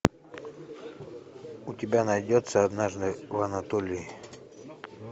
у тебя найдется однажды в анатолии